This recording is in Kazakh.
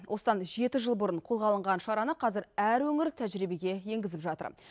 осыдан жеті жыл бұрын қолға алынған шараны қазір әр өңір тәжірибеге енгізіп жатыр